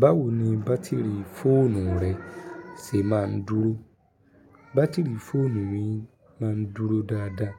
Báwo ni bátìrì fóònù rẹ ṣe máa ń dúró? Bátìrì fóònù mi máa ń dúró dáadáa.